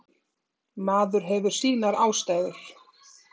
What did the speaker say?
Maður hefur sínar ástæður.